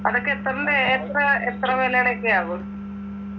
അതൊക്കെ എത്രന്റെ എത്ര എത്ര വിലടെ ഒക്കെയാവും